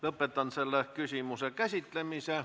Lõpetan selle küsimuse käsitlemise.